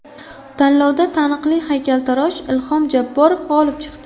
Tanlovda taniqli haykaltarosh Ilhom Jabborov g‘olib chiqdi .